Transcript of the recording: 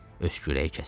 Öskürəyi kəsdi.